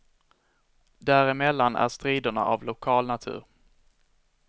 Däremellan är striderna av lokal natur.